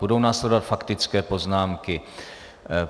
Budou následovat faktické poznámky.